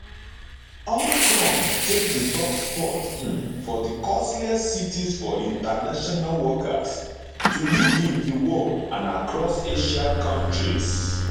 hong kong take di top spot um for di costliest cities for international workers to live in di world and across asia kontris